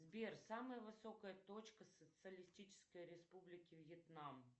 сбер самая высокая точка социалистической республики вьетнам